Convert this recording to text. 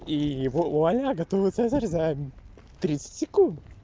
и вуаля готовый цезарь за тридцать секунд